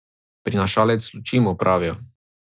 Prinašalec luči mu pravijo.